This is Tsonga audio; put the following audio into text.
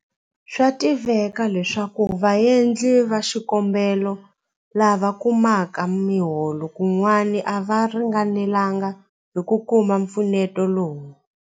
Swa tiveka leswaku vaendli va xikombelo lava kumaka miholo kun'wana a va ringanelanga hi ku kuma mpfuneto lowu.